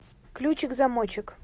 ключик замочек